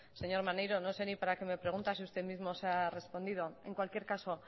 señor maneiro no sé ni para qué me pregunta si usted mismo se ha respondido en cualquier caso